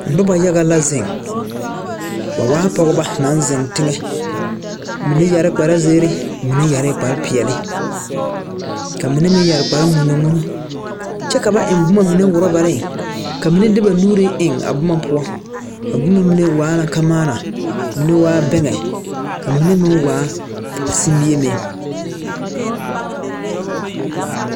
Nobaa yaga la zeŋ ba waa pogeba naŋ zeŋ teŋɛ mine yɛrɛ kparzeere mine yɛrɛ kparpeɛle ka mine meŋ yɛre kparŋmonnɔŋmonɔ kyɛ ka ba eŋ boma mine orɔbareŋ ka mine de ba nuuri eŋ a boma poɔ a boma mine waa la kamaana mine waa bɛŋɛ ka mine meŋ waa simie meŋ.